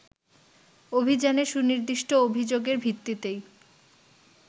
অভিযানে সুনির্দিষ্ট অভিযোগের ভিত্তিতেই